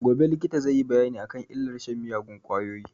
Gobe likita zai yi bayani a kan illar shan miyagun ƙwayoyi